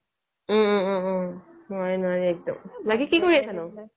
ওম ওম ওম নোৱাৰে নোৱাৰে একদম, বাকী কি কৰি আছোঁ নো